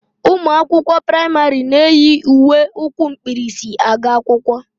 Ụmụ akwụkwọ praịmarị na-eyi uwe ukwu mkpirisi aga akwụkwọ